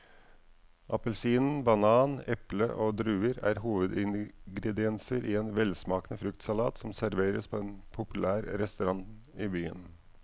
Appelsin, banan, eple og druer er hovedingredienser i en velsmakende fruktsalat som serveres på en populær restaurant i byen.